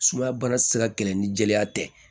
Sumaya baara ti se ka kɛlɛ ni jeliya tɛ